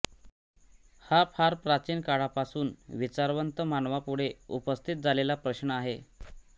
हा फार प्राचीन काळापासून विचारवंत मानवापुढे उपस्थित झालेला प्रश्न आहे